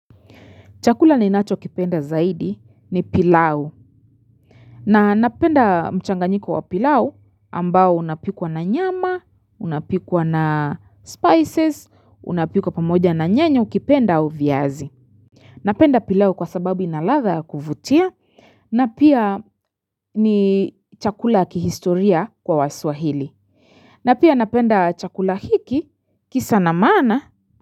Chakula ninacho kipenda zaidi ni pilau. Na napenda mchanganyiko wa pilau ambao unapikwa na nyama, unapikwa na spices, unapikwa pamoja na nyanya au ukipenda au viazi. Napenda pilau kwa sababu ina ladha kuvutia na pia ni chakula ya kihistoria kwa waswahili. Na pia napenda chakula hiki kisa na maana.